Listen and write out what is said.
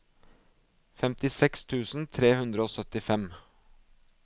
femtiseks tusen tre hundre og syttifem